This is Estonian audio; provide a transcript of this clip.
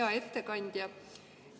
Hea ettekandja!